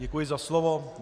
Děkuji za slovo.